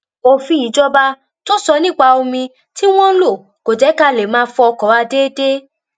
òfin ìjọba tó sọ nípa omi tí wọ́n ń lò kò jẹ́ ká lè máa fọ ọkọ̀ wa déédéé